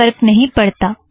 कोई फ़र्क नहीं पड़ता